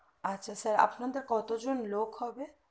আচ্ছা sir আপনাদের কতজন লোক হবে